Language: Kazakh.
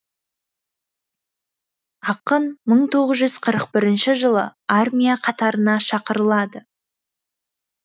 ақын мың тоғыз жүз қырық бірінші жылы армия қатарына шақырылады